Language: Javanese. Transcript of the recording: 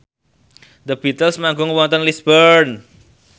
The Beatles manggung wonten Lisburn